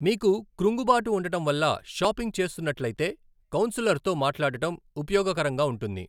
మీకు క్రుంగుబాటు ఉండటం వల్ల షాపింగ్ చేస్తున్నట్లయితే, కౌన్సిలర్తో మాట్లాడటం ఉపయోగకరంగా ఉంటుంది.